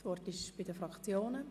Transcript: Das Wort haben die Fraktionen.